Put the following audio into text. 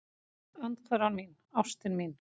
Andhverfan mín, ástin mín.